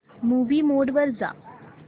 movie mode वर जा